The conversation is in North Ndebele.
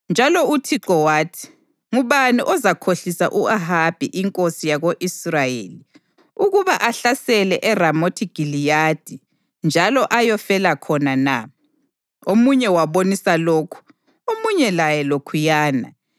Njalo uThixo wathi, ‘Ngubani ozakhohlisa u-Ahabi inkosi yako-Israyeli ukuba ahlasele eRamothi Giliyadi njalo ayofela khona na?’ Omunye wabonisa lokhu, omunye laye lokhuyana.